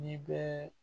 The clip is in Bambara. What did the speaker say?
N'i bɛ